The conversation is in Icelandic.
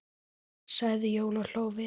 sagði Jón og hló við.